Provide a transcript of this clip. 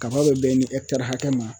Kaba be bɛn ni ɛkitari hakɛ ma